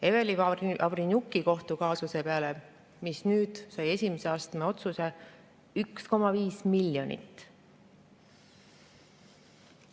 Eveli Vavrenjuki kohtukaasuse peale, mis nüüd sai esimeses astmes otsuse, on läinud 1,5 miljonit.